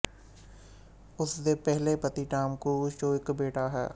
ਉਸ ਦੇ ਪਹਿਲੇ ਪਤੀ ਟਾੱਮ ਕਰੂਜ਼ ਚੋਂ ਇੱਕ ਬੇਟਾ ਹੈ